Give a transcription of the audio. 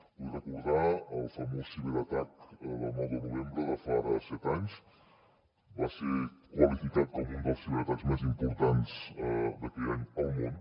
vull recordar el famós ciberatac del nou de novembre de fa ara set anys va ser qualificat com un dels ciberatacs més importants d’aquell any al món